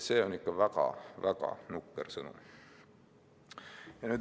See on ikka väga-väga nukker sõnum.